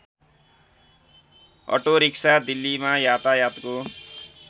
auto rickshaw दिल्लीमा यातायातको